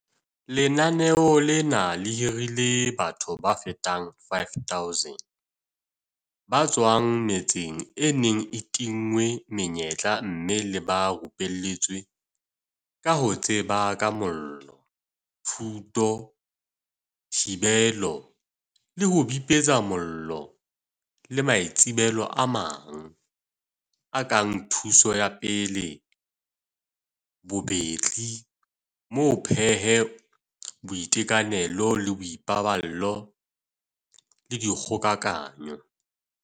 Lenaneo lena le hirile batho ba fetang 5 000 ba tswang metseng e neng e tinngwe menyetla mme le ba rupelletse ka ho tseba ka mollo, thuto, thibelo le ho bipetsa mollo le maitsebelo a mang, a kang thuso ya pele, bobetli, mo pheho, boitekanelo le boipaballo le dikgokahanyo.